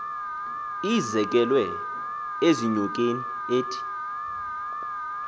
izekelwe ezinyokeni ethi